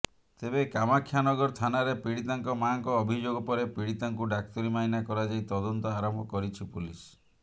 ତେବେ କାମାକ୍ଷାନଗର ଥାନାରେ ପିଡିତାଙ୍କ ମାଆଙ୍କ ଅଭିଯୋଗ ପରେ ପିଡିତାଙ୍କୁ ଡ଼ାକ୍ତରୀମାଇନା କରାଯାଇ ତଦନ୍ତ ଆରମ୍ଭ କରିଛି ପୋଲିସ